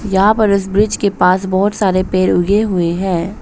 यहां पर इस ब्रिज के पास बहोत सारे पेड़ उगे हुए हैं।